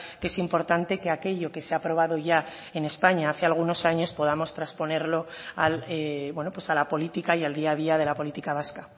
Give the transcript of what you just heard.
que es importante que aquello que se ha aprobado ya en españa hace algunos años podamos trasponerlo a la política y al día a día de la política vasca